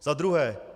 Za druhé.